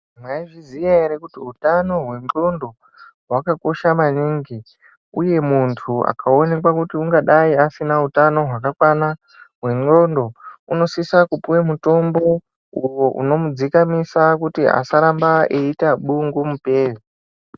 Mwaizviziya ere kuti utano hwendxondo hwakakosha maningi uye muntu akaonekwa kuti ungadai asina utano hwakakwana hwendxondo unosise kupuwe mutombo unomudzikamisa kuti asaramba eiite bungumupere.